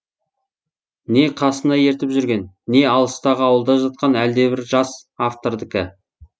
не қасына ертіп жүрген не алыстағы ауылда жатқан әлдебір жас автордікі